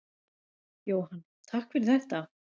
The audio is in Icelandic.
Jóhann: Takk fyrir þetta.